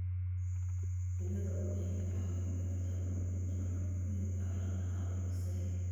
Digada waxay kaa caawin kartaa buuxinta nafaqooyinka carrada xaalufisay.